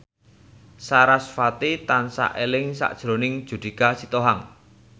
sarasvati tansah eling sakjroning Judika Sitohang